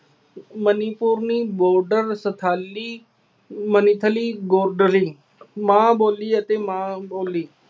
ਮਨੀਪੁਰਨੀ, ਬੋਗਡਰ, ਸ਼ਥਾਲੀ, ਮਨੀਥਲੀ, ਗੋਡਰੀ, ਮਾਂ ਬੋਲੀ ਅਤੇ ਮਾਂ ਬੋਲੀ